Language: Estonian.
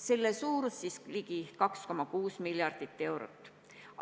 Selle maht on ligi 2,6 miljardit eurot.